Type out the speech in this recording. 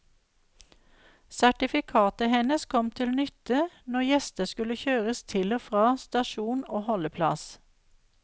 Sertifikatet hennes kom til nytte når gjester skulle kjøres til og fra stasjon og holdeplass.